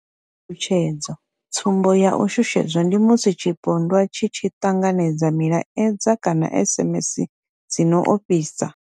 Tshutshedzo tsumbo ya u shushedzwa ndi musi tshipondwa tshi tshi ṱanganedza milaedza kana SMS dzi no ofhisa.